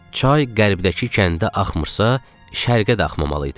Çay Qərbdəki kəndə axmırsa, Şərqə də axmamalı idi.